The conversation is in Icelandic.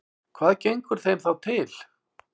Hvað gengur þeim þá til?